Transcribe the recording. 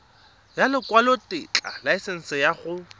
ya lekwalotetla laesense ya go